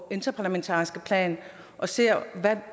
interparlamentariske plan og se